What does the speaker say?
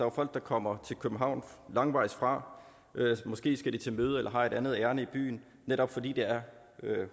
er folk der kommer til københavn langvejs fra måske skal de til møde eller har et andet ærinde i byen netop fordi det er